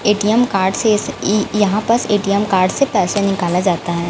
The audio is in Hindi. ए_टी_एम कार्ड से ई ए यहाँ बस ए_टी_एम कार्ड से पैसे निकला जाता है।